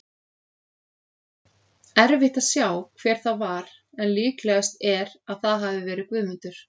Erfitt að sjá hver það var en líklegast er að það hafi verið Guðmundur.